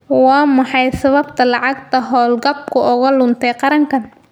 Waa maxay sababta lacagta hawlgabku uga luntay qarankan?